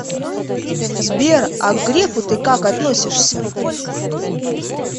сбер а к грефу ты как относишься